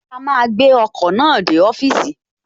A máa gbé ọkọ̀ náà dé ọ́fìsì